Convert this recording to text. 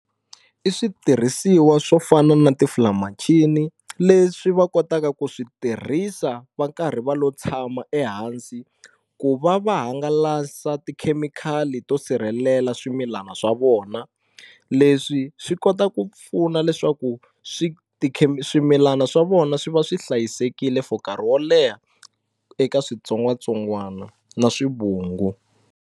I switirhisiwa swo fana na ti filamachini leswi va kotaka ku switirhisa va karhi va lo tshama ehansi ku va va hangalasa tikhemikhali to sirhelela swi milana swa vona leswi swi kota ku pfuna leswaku swi swimilana swa vona swi va swi hlayisekile for nkarhi wo leha eka switsongwatsongwana na swivungu.